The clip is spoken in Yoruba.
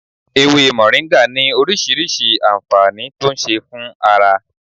Ewé moringa ní orísìírísìí anfaani tó ń ṣe fún ara